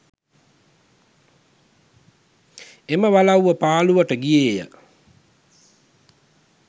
එම වලව්ව පාළුවට ගියේය